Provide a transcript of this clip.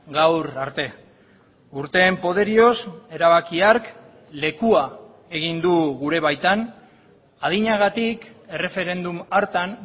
gaur arte urteen poderioz erabaki hark lekua egin du gure baitan adinagatik erreferendum hartan